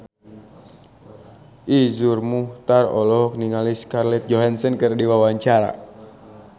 Iszur Muchtar olohok ningali Scarlett Johansson keur diwawancara